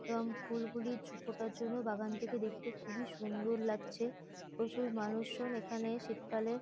এবং ফুলগুলি ঝ ফোঁটার জন্য বাগানটিকে দেখতে খুবই সুন্দর লাগছে প্রচুর মানুষজন এখানে শীতকালে--